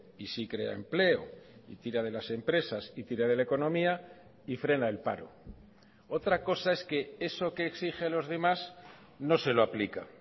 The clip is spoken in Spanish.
y sí crea empleo y tira de las empresas y tira de la economía y frena el paro otra cosa es que eso que exige los demás no se lo aplica